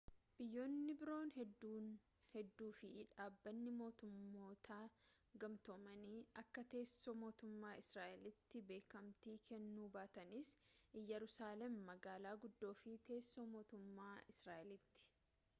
biyyoonni biroo hedduu fi dhabbanni mootummoota gamtoomanii akka teessoo mootummaa israa'elitti beekamtii kennuu baatanis iyyeruusaalem magaala guddoo fi teessoo mootummaa israa'eliiti